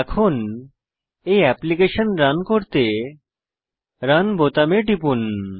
এখন এই application run করতে রান বোতামে টিপুন